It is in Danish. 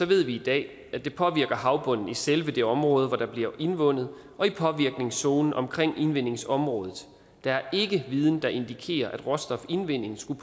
ved vi i dag at det påvirker havbunden i selve det område hvor der bliver indvundet og i påvirkningszonen omkring indvindingsområdet der er ikke viden der indikerer at råstofindvinding skulle